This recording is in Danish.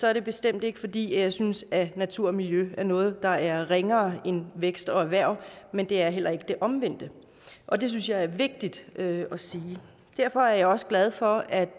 er det bestemt ikke fordi jeg synes at natur og miljø er noget der er ringere end vækst og erhverv men det er heller ikke det omvendte og det synes jeg er vigtigt at sige derfor er jeg også glad for at